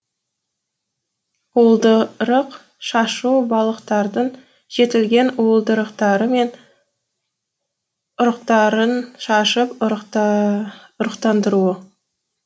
уылдырық шашу балықтардың жетілген уылдырықтары мен ұрықтарын шашып ұрықтандыруы